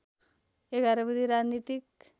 ११ बुँदे राजनीतिक